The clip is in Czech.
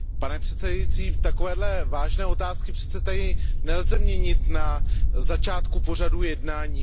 Pane předsedající, takové vážné otázky přece tady nelze měnit na začátku pořadu jednání.